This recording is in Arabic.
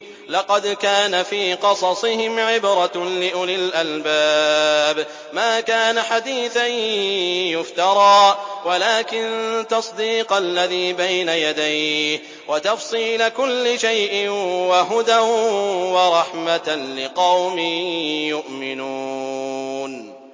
لَقَدْ كَانَ فِي قَصَصِهِمْ عِبْرَةٌ لِّأُولِي الْأَلْبَابِ ۗ مَا كَانَ حَدِيثًا يُفْتَرَىٰ وَلَٰكِن تَصْدِيقَ الَّذِي بَيْنَ يَدَيْهِ وَتَفْصِيلَ كُلِّ شَيْءٍ وَهُدًى وَرَحْمَةً لِّقَوْمٍ يُؤْمِنُونَ